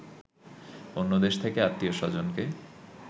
অন্য দেশ থেকে আত্মীয় স্বজনকে